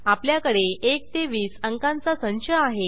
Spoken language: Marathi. आपल्याकडे 1 ते 20 अंकांचा संच आहे